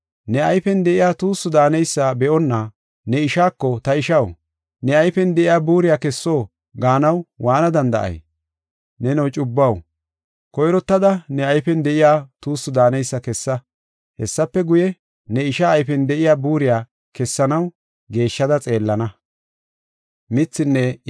Ne ayfen de7iya tuussu daaneysa be7onna ne ishaako, ‘Ta ishaw, ne ayfen de7iya buuriya kesso’ gaanaw waana danda7ey? Neno cubbuwaw, koyrottada ne ayfen de7iya tuussu daaneysa kessa. Hessafe guye, ne isha ayfen de7iya buuriya kessanaw geeshshada xeellana.